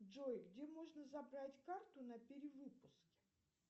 джой где можно забрать карту на перевыпуске